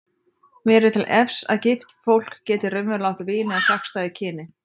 Mér er til efs að gift fólk geti raunverulega átt vini af gagnstæðu kyni.